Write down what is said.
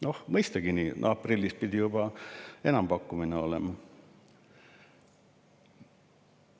Noh, mõistagi, aprillis pidi juba enampakkumine olema.